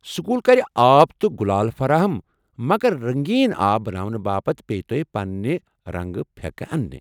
School كرِ آب تہٕ گٗلال فراہم ، مگر رنگین آب بناونہٕ باپت پییہِ توہہِ پنٛنہٕ رنٛگہٕ پھٮ۪کہٕ انٛنہِ۔